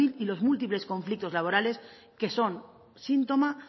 y los múltiples conflictos laborales que son síntoma